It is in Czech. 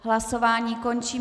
Hlasování končím.